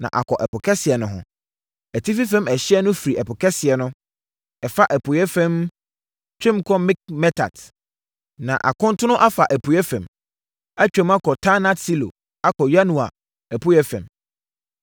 na akɔ Ɛpo Kɛseɛ no ho. Atifi fam ɛhyeɛ no firi Ɛpo Kɛseɛ no, ɛfa apueeɛ fam, twam wɔ Mikmetat, na akontono afa apueeɛ fam, atwam wɔ Taanat-Silo akɔ Yanoa apueeɛ fam.